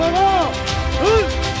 Haray qova!